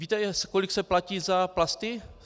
Víte, kolik se platí za plasty?